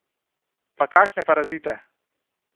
Pa kakšne parazite.